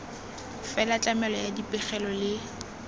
fela tlamelo ya dipegelo le